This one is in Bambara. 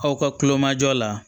Aw ka kulomajɔ la